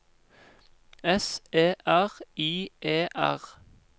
S E R I E R